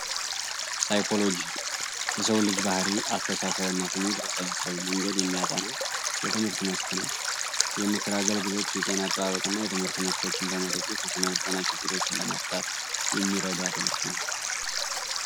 ሳይኮሎጂ የሰው ልጅ ባህሪ አስተሳሰብ ስሜት በሳይንሳዊ መንገድ የሚያጠና የትምህርት መስክ ነው። የምክር አገልግሎት የጤና አጠባበቅና የትምህርቶችን በመድግፍ የስነልቦና ችግሮችን ለመፍታት የሚረዳ ትምህርት ነው።